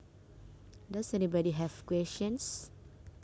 Does anybody have questions